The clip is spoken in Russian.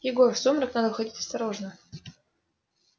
егор в сумрак надо входить осторожно